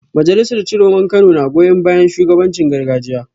Majalisar Ciroman Kano na goyon bayan shugabancin gargajiya